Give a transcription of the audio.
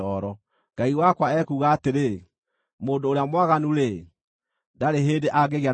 Ngai wakwa ekuuga atĩrĩ, “Mũndũ ũrĩa mwaganu-rĩ, ndarĩ hĩndĩ angĩgĩa na thayũ.”